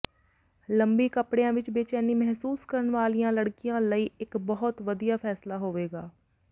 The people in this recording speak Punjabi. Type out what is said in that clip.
ਲੰਮੀ ਕੱਪੜਿਆਂ ਵਿਚ ਬੇਚੈਨੀ ਮਹਿਸੂਸ ਕਰਨ ਵਾਲੀਆਂ ਲੜਕੀਆਂ ਲਈ ਇਕ ਬਹੁਤ ਵਧੀਆ ਫੈਸਲਾ ਹੋਵੇਗਾ